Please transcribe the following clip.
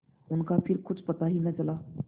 उनका फिर कुछ पता ही न चला